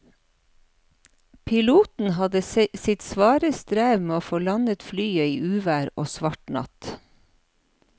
Piloten hadde sitt svare strev med å få landet flyet i uvær og svart natt.